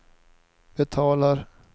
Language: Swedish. betalar